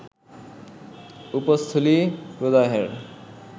উপস্থলি প্রদাহের